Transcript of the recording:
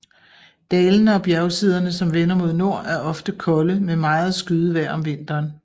Dalene og bjergsiderne som vender mod nord er ofte kolde med meget skyet vejr om vinteren